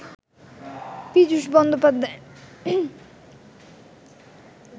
Piyush Bandopadhyay